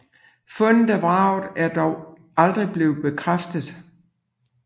Fundet af vraget er dog aldrig blevet bekræftet